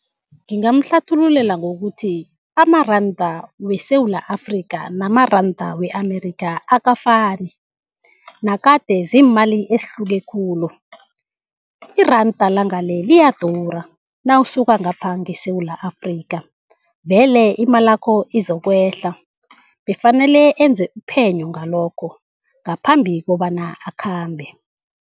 Ngingamhlathululela ngokuthi amaranda weSewula Afrika namaranda we-Amerika akafani. Nakade ziimali ezihluke khulu. Iranda langale liyadura nawusuka ngapha ngeSewula Afrika, vele imalakho izokwehla. Befanele enze iphenyo ngalokho ngaphambi kobana akhambe.